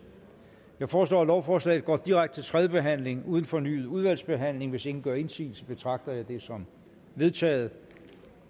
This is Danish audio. jeg foreslår at lovforslaget går direkte til tredje behandling uden fornyet udvalgsbehandling hvis ingen gør indsigelse betragter jeg det som vedtaget